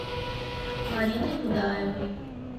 мариной будаевой